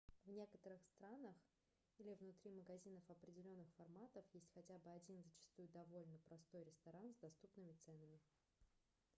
в некоторых странах или внутри магазинов определенных форматов есть хотя бы один зачастую довольно простой ресторан с доступными ценами